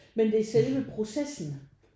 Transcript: Men det er selve processen